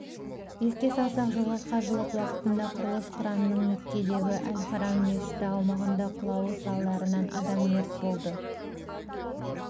еске салсақ жылғы қажылық уақытында құрылыс кранының меккедегі әл-харам мешіті аумағында құлауы салдарынан адам мерт болды